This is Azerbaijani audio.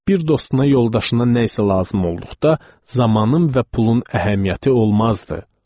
Bir dostuna, yoldaşına nə isə lazım olduqda zamanın və pulun əhəmiyyəti olmazdı.